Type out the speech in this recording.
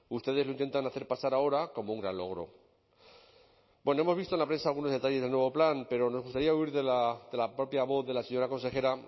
ustedes lo intentan hacer pasar ahora como un gran logro bueno hemos visto en la prensa algunos detalles del nuevo plan pero nos gustaría oír de la propia voz de la señora consejera